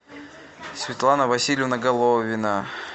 светлана васильевна головина